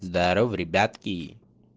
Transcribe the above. здарова ребятки